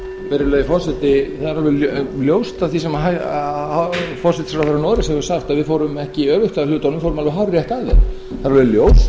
virðulegi forseti það er alveg ljóst af því sem forsætisráðherra noregs hefur sagt að við fórum ekki öfugt að hlutunum við fórum alveg hárrétt að þeim það er alveg ljóst